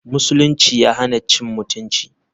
musulunci ya hana cin mutunci.